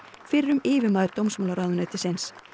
fyrrum yfirmaður dómsmálaráðuneytisins